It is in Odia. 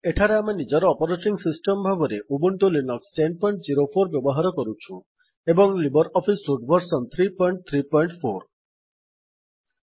ଏଠାରେ ଆମେ ନିଜର ଅପରେଟିଙ୍ଗ୍ ସିଷ୍ଟମ ଭାବରେ ଉବୁଣ୍ଟୁ ଲିନକ୍ସ୍ ୧୦୦୪ ବ୍ୟବହାର କରୁଛୁ ଏବଂ ଲିବର ଅଫିସ ସୁଟ୍ ଭର୍ସନ ୩୩୪ ର